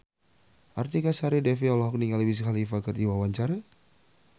Artika Sari Devi olohok ningali Wiz Khalifa keur diwawancara